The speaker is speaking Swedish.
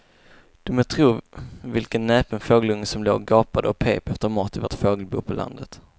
Du må tro vilken näpen fågelunge som låg och gapade och pep efter mat i vårt fågelbo på landet.